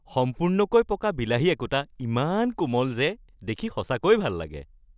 সম্পূৰ্ণকৈ পকা বিলাহী একোটা ইমান কোমল যে দেখি সঁচাকৈ ভাল লাগে৷